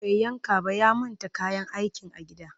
Bai yanka ba ya manta kayan aikin a gida